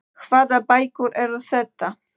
Hvaða bækur eru þetta?